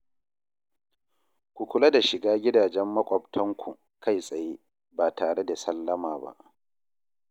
Ku kula da shiga gidajen maƙwabtanku kai tsaye, ba tare da sallama ba